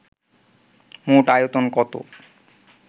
মোট আয়তন কত